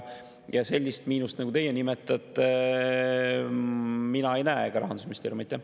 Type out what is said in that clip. Sellist miinust, nagu teie nimetate, mina ega Rahandusministeerium ei näe.